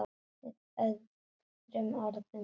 Með öðrum orðum gildir